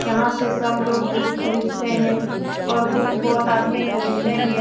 यहाँ से सब लोग बुक खरीदते हैं और बुक बहुत आदमी खरीदने भी --